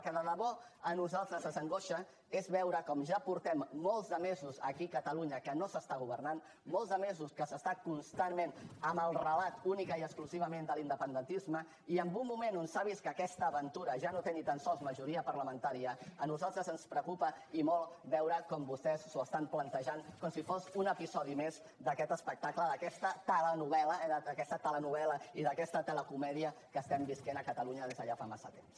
el que de debò a nosaltres ens angoixa és veure com ja portem molts de mesos aquí a catalunya que no s’està governant molts de mesos que s’està constantment amb el relat únicament i exclusivament de l’independentisme i en un moment en què s’ha vist que aquesta aventura ja no té ni tan sols majoria parlamentària a nosaltres ens preocupa i molt veure com vostès s’ho estan plantejant com si fos un episodi més d’aquest espectacle d’aquesta telenovel·la eh d’aquesta telenovel·la i d’aquesta telecomèdia que estem vivint a catalunya des de ja fa massa temps